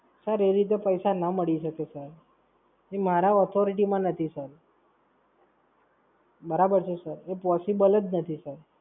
Sir એવી રીતે પૈસા ના મળી શકે Sir. એ મારા Authority માં નથી Sir. બરાબર છે Sir? એ Possible જ નથી Sir.